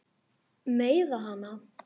Meiða hana.